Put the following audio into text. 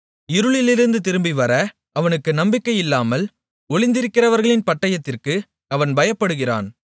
இருளிலிருந்து திரும்பிவர அவனுக்கு நம்பிக்கையில்லாமல் ஒளிந்திருக்கிறவர்களின் பட்டயத்திற்கு அவன் பயப்படுகிறான்